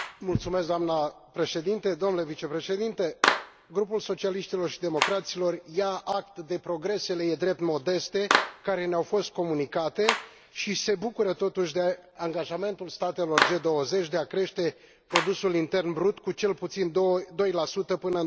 Doamnă președinte, domnule vicepreședinte, Grupul Socialiștilor și Democraților ia act de progresele, e drept, modeste, care ne au fost comunicate și se bucură totuși de angajamentul statelor G20 de a crește produsul intern brut cu cel puțin 2 până în